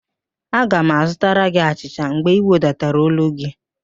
Aga m azụtara gị achịcha mgbe ị wedatara ólú gị